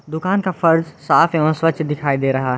दुकान का फर्श साफ एवं स्वच्छ दिखाई दे रहा है।